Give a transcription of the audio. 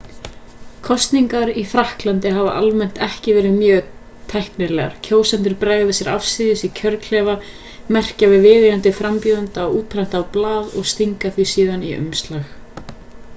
kosningar í frakklandi hafa almennt ekki verið mjög tæknilegar kjósendur bregða sér afsíðis í kjörklefa merkja við viðeigandi frambjóðanda á útprentað blað og stinga því síðan í umslag